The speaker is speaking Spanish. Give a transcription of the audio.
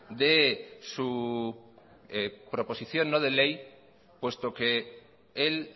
de su proposición no de ley puesto que él